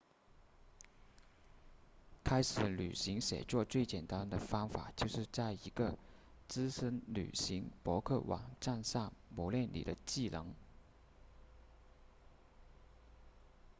开始旅行写作最简单的方法就是在一个资深旅行博客网站上磨练你的技能